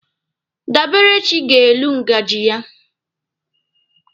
Daberechi ga-elu ngaji ya.